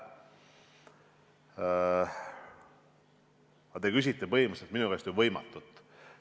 Aga te küsite põhimõtteliselt minu käest võimatut.